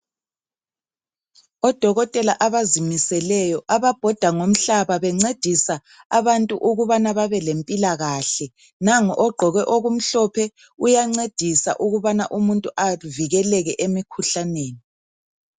Odokotela abazimiseleyo ababhoda ngomhlaba bencedisa abantu ukubana babe lempilakahle, nangu ogqoke okumhlophe uyancedisa ukubana umuntu avikeleke emkhuhlaneni.